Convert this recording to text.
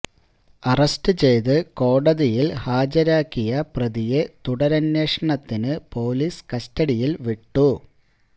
arrest ചെയ്ത് കോടതിയില് ഹാജരാക്കിയ പ്രതിയെ തുടരന്വേഷണത്തിന് പോലീസ് കസ്റ്റഡിയില് വിട്ടു